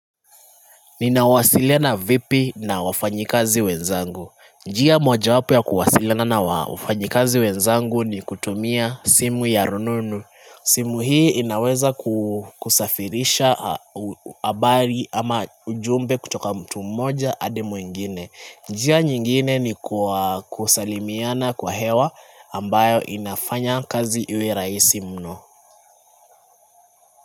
Ninawasiliana vipi na wafanyikazi wenzangu. Njia mojawapo ya kuwasiliana na wafanyikazi wenzangu ni kutumia simu ya rununu. Simu hii inaweza kusafirisha habari ama ujumbe kutoka mtu mmoja hadi mwengine. Njia nyingine ni kusalimiana kwa hewa ambayo inafanya kazi iwe rahisi mno.